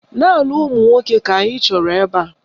Naanị ụmụnwoke ka anyị chọrọ ebe a.